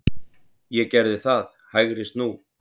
Ég gerði það, hægri snú.